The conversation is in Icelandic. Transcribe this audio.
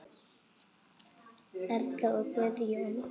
Erla og Guðjón.